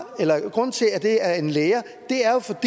grunden til at det er en lære at